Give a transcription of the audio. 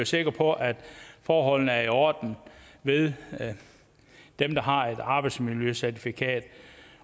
sikre på at forholdene er i orden ved dem der har et arbejdsmiljøcertifikat